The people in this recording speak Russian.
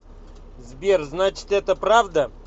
сбер значит это правда